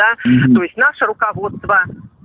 да то есть наше руководство